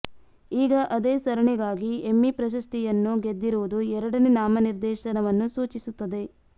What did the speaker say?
ಈಗ ಅದೇ ಸರಣಿಗಾಗಿ ಎಮ್ಮಿ ಪ್ರಶಸ್ತಿಯನ್ನು ಗೆದ್ದಿರುವುದು ಎರಡನೇ ನಾಮನಿರ್ದೇಶನವನ್ನು ಸೂಚಿಸುತ್ತದೆ